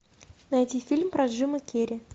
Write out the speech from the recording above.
найти фильм про джима керри